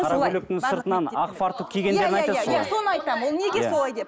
қара көйлектің сыртынан ақ фартук киген соны айтамын ол неге солай деп